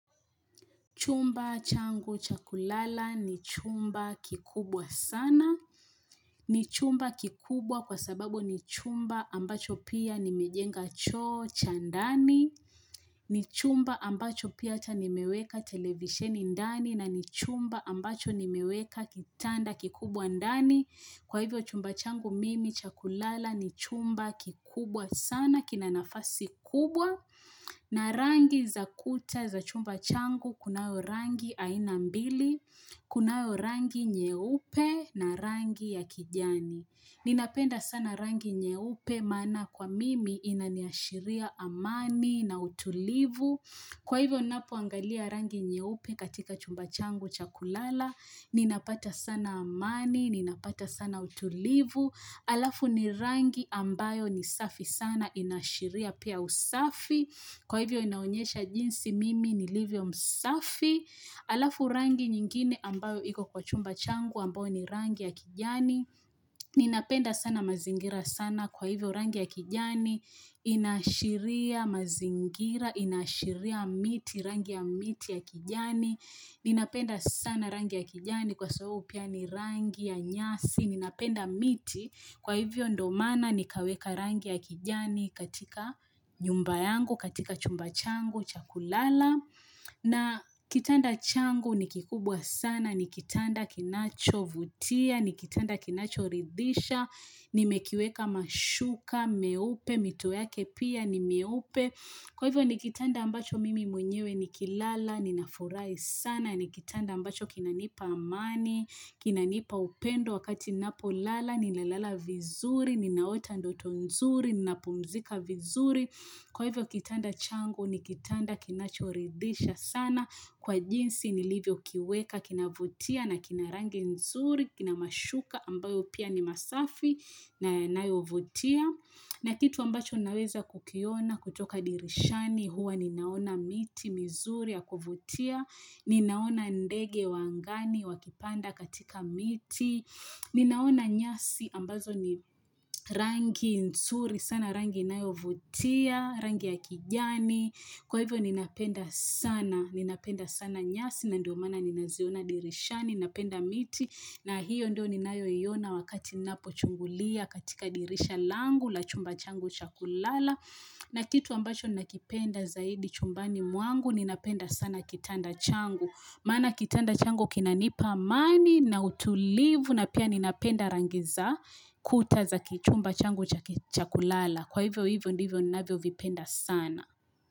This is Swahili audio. Chumba changu cha kulala ni chumba kikubwa sana ni chumba kikubwa kwa sababu ni chumba ambacho pia nimejenga choo cha ndani ni chumba ambacho pia ata nimeweka televisheni ndani na ni chumba ambacho ni meweka kitanda kikubwa ndani Kwa hivyo chumba changu mimi chakulala ni chumba kikubwa sana kina nafasi kubwa na rangi za kuta za chumba changu, kunayo rangi ainambili, kunayo rangi nyeupe na rangi ya kijani. Ninapenda sana rangi nyeupe maana kwa mimi inaniashiria amani na utulivu. Kwa hivyo napoangalia rangi nyeupe katika chumba changu cha kulala, ninapata sana amani, ninapata sana utulivu. Alafu ni rangi ambayo ni safi sana inashiria pia usafi Kwa hivyo inaonyesha jinsi mimi nilivyo msafi Alafu rangi nyingine ambayo iko kwa chumba changu ambayo ni rangi ya kijani Ninapenda sana mazingira sana kwa hivyo rangi ya kijani Inashiria mazingira, inashiria miti, rangi ya miti ya kijani Ninapenda sana rangi ya kijani kwa sababu pia ni rangi ya nyasi Ninapenda miti, kwa hivyo ndo maana nikaweka rangi ya kijani katika nyumba yangu, katika chumba changu, cha kulala. Na kitanda changu nikikubwa sana, nikitanda kinachovutia, nikitanda kinacho ridhisha, nimekiweka mashuka, meupe, mito yake pia, nimieupe. Kwa hivyo ni kitanda ambacho mimi mwenyewe nikilala, ninafurai sana, ni kitanda ambacho kinanipa amani, kinanipa upendo wakati ninapolala, ninalala vizuri, ninaota ndoto nzuri, ninapumzika vizuri. Kwa hivyo kitanda changu, ni kitanda kinachoridisha sana kwa jinsi nilivyokiweka, kinavutia na kina rangi nzuri, kina mashuka ambayo pia ni masafi na yanayovutia. Na kitu ambacho naweza kukiona kutoka dirishani huwa ninaona miti mizuri ya kuvutia, ninaona ndege wa angani wakipanda katika miti, ninaona nyasi ambazo ni rangi nzuri sana rangi inayo vutia, rangi ya kijani. Kwa hivyo ninapenda sana, ninapenda sana nyasi na ndio maana ninaziona dirishani, napenda miti na hiyo ndio ninayoiona wakati ninapo chungulia katika dirisha langu la chumba changu chakulala na kitu ambacho ninakipenda zaidi chumbani mwangu ninapenda sana kitanda changu maana kitanda changu kinanipa amani na utulivu na pia ninapenda rangi za kuta za kichumba changu cha kulala Kwa hivyo hivyo ndivyo ninavyovipenda sana.